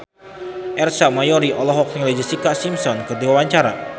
Ersa Mayori olohok ningali Jessica Simpson keur diwawancara